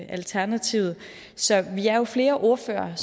alternativet så vi er jo flere ordførere